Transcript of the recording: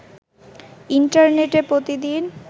ইন্টারনেটে প্রতিদিন